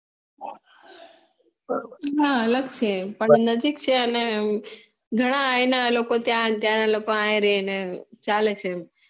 હા અલગ છે પણ નજીક છે અને ઘણા એના લોકો ત્યાં અહી રેહ ને ચાલે છે